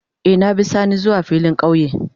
Eh, na bi sani zuwa filin kauye.